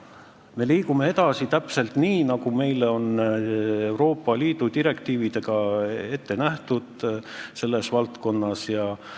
Me liigume edasi täpselt nii, nagu meile on Euroopa Liidu direktiividega selles valdkonnas ette nähtud.